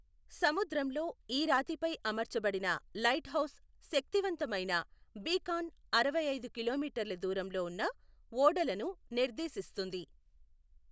సముద్రంలో ఈ రాతిపై అమర్చబడిన లైట్ హౌస్ శక్తి వంతమైన బీకాన్ అరవైఐదు కిలోమీటర్ల దూరంలో ఉన్న ఓడలను నిర్దేశిస్తుంది.